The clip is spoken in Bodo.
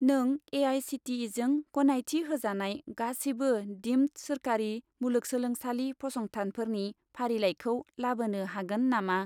नों ए.आइ.सि.टि.इ.जों गनायथि होजानाय गासिबो दिम्ड सोरखारि मुलुंगसोलोंसालि फसंथानफोरनि फारिलाइखौ लाबोनो हागोन नामा?